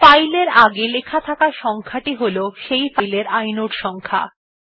file এর আগে লেখা থাকা সংখ্যা টি হল সেই ফাইল এর ইনোড সংখ্যা